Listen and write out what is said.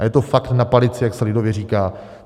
A je to fakt na palici, jak se lidově říká.